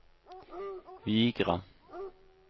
Vigra